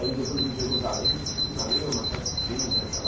Aí depois eu vi Jerusalém, mas Jerusalém é uma cidade que tem aquela...